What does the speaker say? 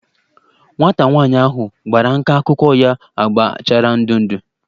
Nwata nwanyị ahu gbara nka akwụkwọ ya agba chara ndụ ndụ